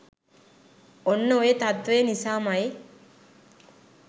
ඔන්න ඔය තත්ත්වය නිසාම යි